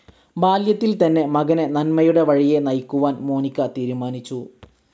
ബാല്യത്തിൽ തന്നെ മകനെ നന്മയുടെ വഴിയെ നയിക്കുവാൻ മോനിക്ക തീരുമാനിച്ചു.